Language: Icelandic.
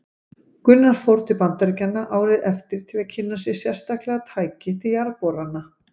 Gunnar fór til Bandaríkjanna árið eftir til að kynna sér sérstaklega tæki til jarðborana.